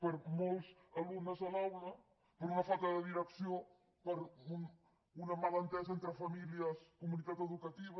per molts alumnes a l’aula per una falta de direcció per una malentesa entre famílies comunitat educativa